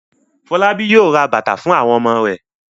Fọlábí yóò ra bàtà fún àwon ọmọ rẹ̀.